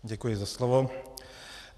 Děkuji za slovo.